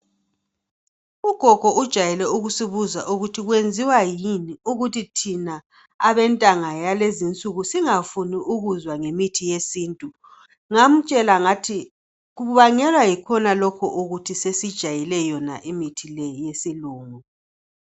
Ugogo ujayelwe ukusibuza ukuthi kwenziwa yini ukuthi thina abentanga yalezinsuku singafuni ukuzwa ngemithi yesintu ngamtshela ngathi kubangelwa yikhonalokho ukuthi sesijayele yona mithi leyo yesilungu